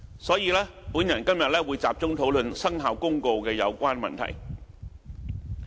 所以，我今天會集中討論《生效公告》的有關問題。